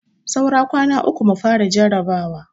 Saura kwana uku mu fara jarabawa.